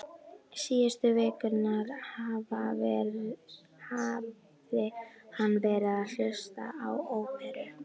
Síðustu vikurnar hafði hann verið að hlusta á óperu